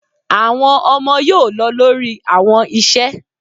Awọn ọmọ yoo lọ lori awọn iṣẹ